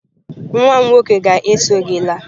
Nwa m nwoke ga-eso gị laa.